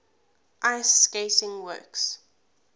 ice skating works